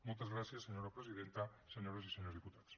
moltes gràcies senyora presidenta senyores i senyors diputats